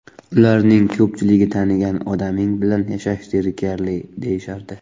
Ularning ko‘pchiligi tanigan odaming bilan yashash zerikarli, deyishardi.